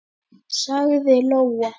sagði Lóa.